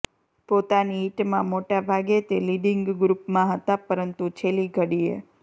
પોતાની હિટમાં મોટા ભાગે તે લીડિંગ ગ્રૂપમાં હતા પરંતુ છેલ્લી ઘડીએ